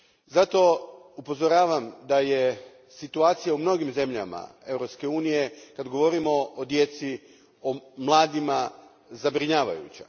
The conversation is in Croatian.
Zato, upozoravam da je situacija u mnogim zemljama Europske unije, kada govorimo o djeci, o mladima, zabrinjavajuća.